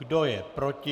Kdo je proti?